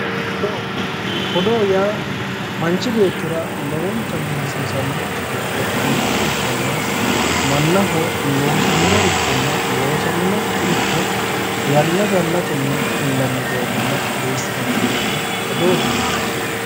Odoo, odoo yaa manchi beettira lowontanni hasiisannorichi giddo mitto ikkanna mannaho loosaminorichona loosaminokkiricho yanna yannatenni odeessinanni doogo odoote yinanni.